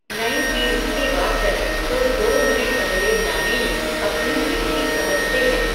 नई पीढ़ी के वाचक तो दो मिनट पहले जाने में अपनी हेठी समझते हैं.